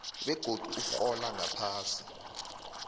begodu urhola ngaphasi